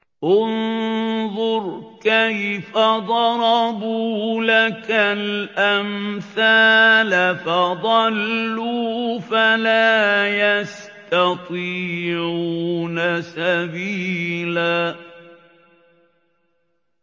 انظُرْ كَيْفَ ضَرَبُوا لَكَ الْأَمْثَالَ فَضَلُّوا فَلَا يَسْتَطِيعُونَ سَبِيلًا